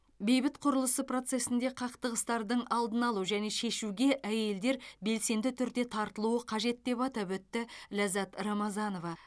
бейбіт құрылысы процесінде қақтығыстардың алдын алу және шешуге әйелдер белсенді түрде тартылуы қажет деп атап өтті лаззат рамазанова